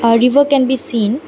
a river can be seen.